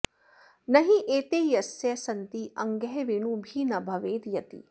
नहि एते यस्य सन्ति अङ्गः वेणुभिः न भवेत् यतिः